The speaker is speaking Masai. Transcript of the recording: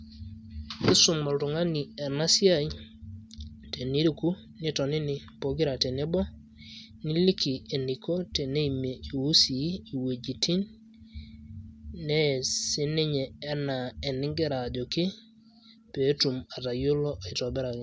Isum oltung'ani ena esiai, teniriku nitonini pokira tenebo, niliki eniko teneimie iusii iwuejiting',nees sininye enaa enigira ajoki, petum atayiolo aitobiraki.